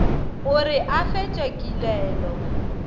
go re a fetše kilelo